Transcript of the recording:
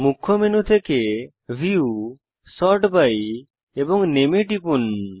মূল মেনু থেকে view sort by এবং নামে এ টিপুন